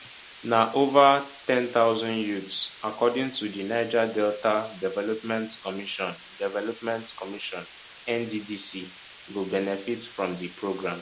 na ova ten thousand youths according to di niger delta development commission development commission nddc go benefit for di programme